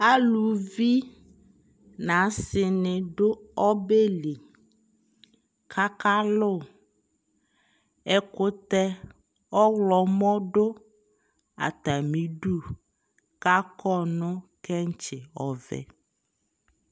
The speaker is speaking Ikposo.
alʋvi nʋasii ni dʋ ɔbɛli kʋ aka lʋ, ɛkʋtɛ ɔwlɔmʋ dʋ atami ʋdʋ kʋ akɔ nʋkɛnkyi ɔvɛ